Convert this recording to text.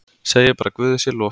Segi bara guði sé lof.